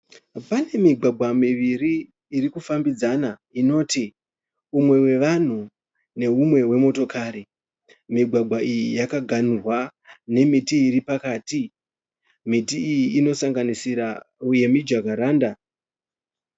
Pane migwagwa miviri irikufambidzana inoti umwe wevanhu neumwe wemotokari. Migwagwa iyi yakaghanurwa nemiti iripakaiti. Miti iyi inosanganisira yemijakaranda.